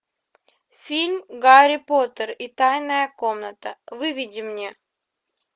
фильм гарри поттер и тайная комната выведи мне